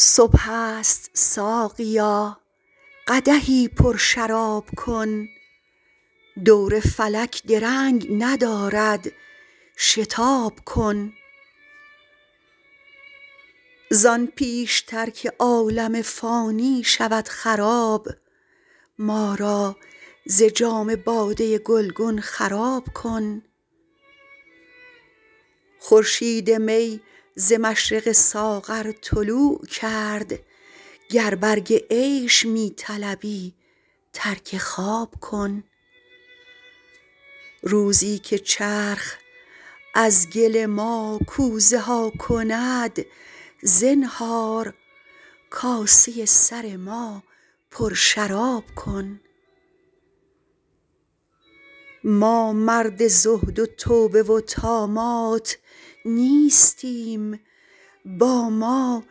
صبح است ساقیا قدحی پرشراب کن دور فلک درنگ ندارد شتاب کن زان پیش تر که عالم فانی شود خراب ما را ز جام باده گلگون خراب کن خورشید می ز مشرق ساغر طلوع کرد گر برگ عیش می طلبی ترک خواب کن روزی که چرخ از گل ما کوزه ها کند زنهار کاسه سر ما پرشراب کن ما مرد زهد و توبه و طامات نیستیم با ما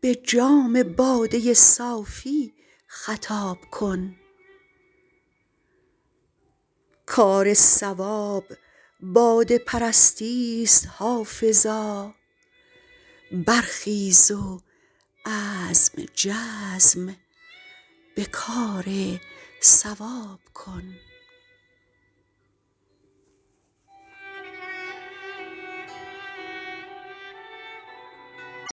به جام باده صافی خطاب کن کار صواب باده پرستی ست حافظا برخیز و عزم جزم به کار صواب کن